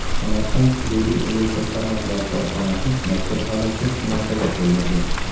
Samarqand hududiy elektr tarmoqlari korxonasi mazkur holatga munosabat bildirdi.